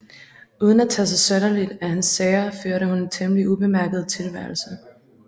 Uden at tage sig synderligt af hans sager førte hun en temmelig ubemærket tilværelse